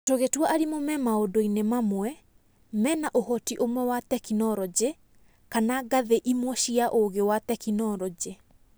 Tũgĩtua arimũ me maũndũ-inĩ mamwe mena ũhoti ũmwe wa tekinoronji kana ngathĩ imwe cia ũũgi wa tekinoronjĩ.